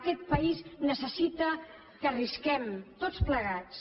aquest país necessita que arrisquem tots plegats